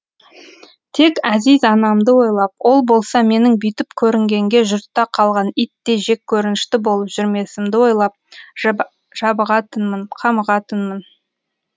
тек әзиз анамды ойлап ол болса менің бүйтіп көрінгенге жұртта қалған иттей жеккөрінішті болып жүрмесімді ойлап жабығатынмын қамығатынмын